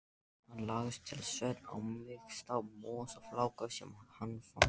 Hann lagðist til svefns á mýksta mosafláka sem hann fann.